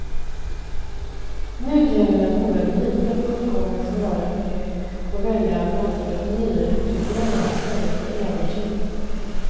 Nu gäller det att våga lita på uppgångens varaktighet och välja alternativet nyrekrytering i stället för övertid.